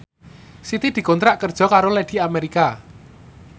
Siti dikontrak kerja karo Lady America